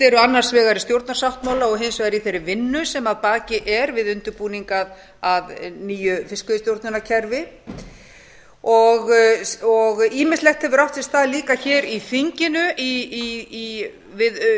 eru annars vegar í stjórnarsáttmála og hins var í þeirri vinnu sem að baki er við undirbúning að nýju fiskveiðistjórnarkerfi ýmislegt hefur átt sér stað líka hér í þinginu við